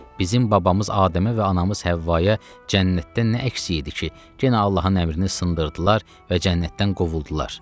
Bizim babamız Adəmə və anamız Həvvaya cənnətdə nə əks idi ki, yenə Allahın əmrini sındırdılar və cənnətdən qovuldular.